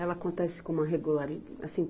Ela acontece com uma regulari, assim